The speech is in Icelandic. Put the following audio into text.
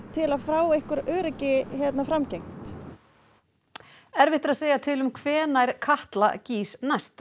til að fá einhverju öryggi framgengt erfitt er að segja til um hvenær Katla gýs næst